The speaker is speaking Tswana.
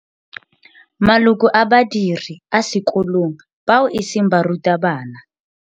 Maloko a badiri a sekolong bao e seng barutabana.